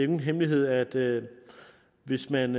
ingen hemmelighed at hvis man